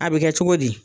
A bɛ kɛ cogo di